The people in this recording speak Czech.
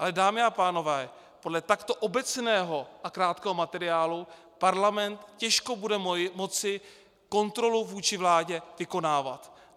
Ale dámy a pánové, podle takto obecného a krátkého materiálu parlament těžko bude moci kontrolu vůči vládě vykonávat.